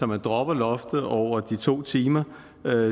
man dropper loftet over de to timer